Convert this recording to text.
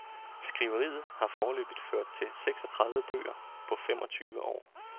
Skriveriet har foreløbig ført til seksogtredive bøger på femogtyve år.